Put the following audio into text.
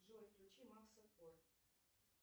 джой включи макса кор